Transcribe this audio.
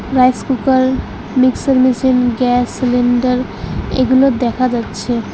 Rice cooker mixer machine gas cylinder এগুলো দেখা যাচ্ছে।